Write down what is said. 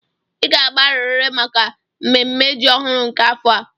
Ị ga-abịarịrị maka mmemme ji ọhụrụ nke afọ a.